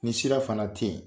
Ni sira fana tɛ yen,